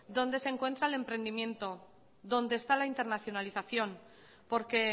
donde se encuentran el emprendimiento donde está la internacionalización porque